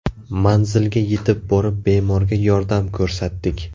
Manzilga yetib borib bemorga yordam ko‘rsatdik.